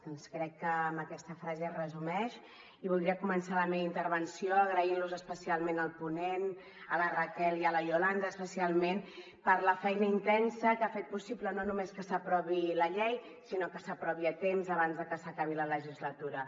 doncs crec que amb aquesta frase es resumeix i voldria començar la meva intervenció agraint los especialment al ponent a la raquel i a la yolanda especialment per la feina intensa que ha fet possible no només que s’aprovi la llei sinó que s’aprovi a temps abans de que s’acabi la legislatura